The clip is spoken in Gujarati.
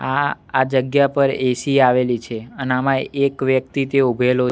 આ આ જગ્યા પર એ_સી આવેલી છે અને આમાં એક વ્યક્તિ તે ઉભેલો--